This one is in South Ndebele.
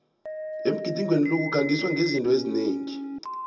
emgidinweni lo kukhangiswa ngezinto eziningi